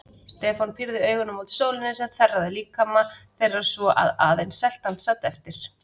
Stefán pírði augun mót sólinni sem þerraði líkama þeirra svo að aðeins seltan sat eftir.